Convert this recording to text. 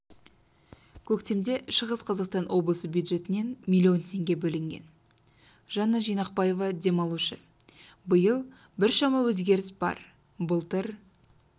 көктемде шығыс қазақстан облысы бюджетінен миллион теңге бөлінген жанна жинақбаева демалушы биыл біршама өзгеріс бар былтыр